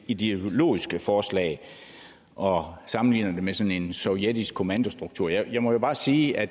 ideologisk forslag og sammenligner det med sådan en sovjetisk kommandostruktur jeg må jo bare sige at